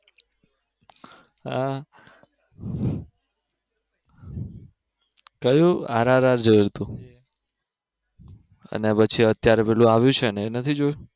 કા કયું આરઆરઆર જોયુ તું અને પછી અત્યારે પેલું આવ્યું છેને એ નથી જોયું